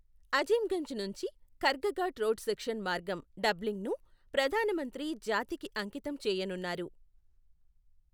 అజిమ్గంజ్ నుంచి, Khargaghat road section మార్గం డబ్లింగ్ను ప్రధానమంత్రి జాతికి అంకితం చేయనున్నారు.